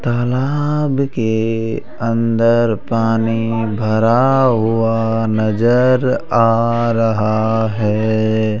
तालाब के अंदर पानी भरा हुआ नजर आ रहा है।